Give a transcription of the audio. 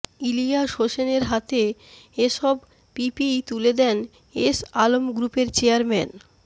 ইলিয়াস হোসেনের হাতে এসব পিপিই তুলে দেন এস আলম গ্রুপের চেয়ারম্যান